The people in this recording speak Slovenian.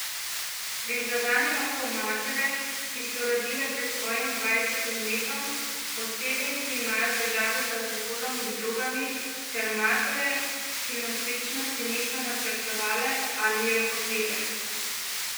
Prizadene lahko matere, ki so rodile pred svojim dvajsetim letom, osebe, ki imajo težave z alkoholom in drogami ter matere, ki nosečnosti niso načrtovale ali je hotele.